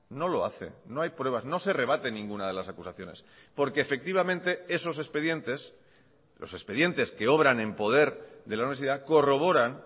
no lo hace no hay pruebas no se rebaten ninguna de las acusaciones porque efectivamente esos expedientes los expedientes que obran en poder de la universidad corroboran